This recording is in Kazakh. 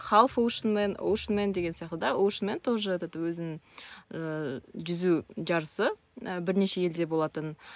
хавушнмен ушнмен деген секілді ушнмен тоже этот өзін ыыы жүзу жарысы ы бірнеше елде болатын